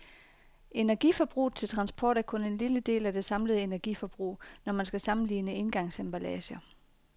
Energiforbruget til transport er kun en lille del af det samlede energiforbrug, når man skal sammenligne engangsemballager.